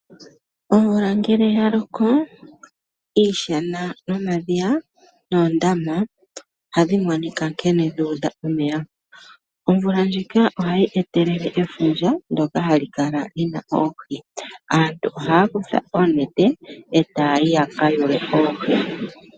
Omvula ngele yaloko iishana nomadhiya noondama ohadhi monika nkene dha udha omeya. Omvula ndjika ohayi etelele efundja ndyoka hali kala lina oohi. Aantu ohaya kutha oontete etaya yi yaka yuule oohi.